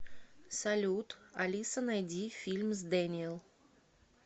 салют алиса найди фильм с дэниел